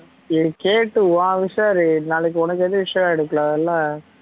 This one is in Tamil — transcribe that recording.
நீ கேட்டு நாளைக்கு உனக்கு ஏதும் issue ஆகிடாகுடதுல